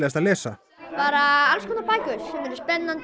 að lesa bara alls konar bækur spennandi